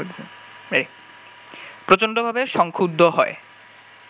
প্রচণ্ডভাবে সংক্ষুব্ধ হয়